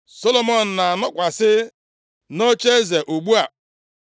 Solomọn na-anọkwasị nʼocheeze ugbu a.